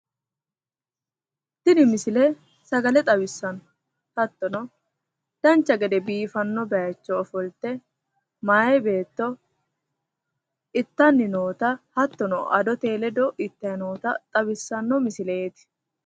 Tini misile sagale xawissanno hattono dancha gede biifanno bayicho ofolte mayi beetto ittanni noota hattono adotenni ledo ittayi noota xawissanno misileeti.